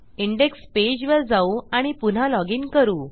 index पेजवर जाऊ आणि पुन्हा लॉग इन करू